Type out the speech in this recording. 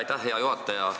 Aitäh, hea juhataja!